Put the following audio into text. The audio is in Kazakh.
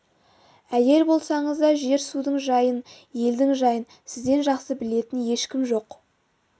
әйел болсаңыз да жер-судың жайын елдің жайын сізден жақсы білетін ешкім жоқ